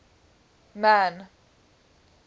man